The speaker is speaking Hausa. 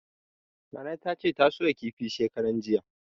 Nana tace ta soya kifin shekaran jiya.